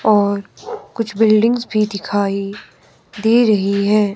और कुछ बिल्डिंग्स भी दिखाई दे रही है।